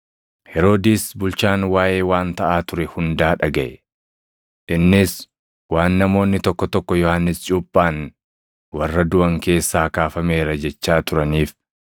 Heroodis bulchaan waaʼee waan taʼaa ture hundaa dhagaʼe. Innis waan namoonni tokko tokko Yohannis cuuphaan warra duʼan keessaa kaafameera jechaa turaniif,